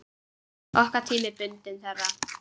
Okkar tími er bundinn þeirra.